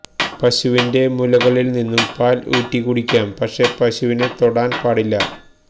പശുവിന്റെ മുലകളിൽ നിന്നും പാൽ ഊറ്റി കുടിക്കാം പക്ഷെ പശുവിനെ തൊടാൻ പാടില്ല